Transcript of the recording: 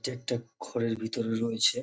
এটা একটা ঘরের ভেতরে রয়েছে।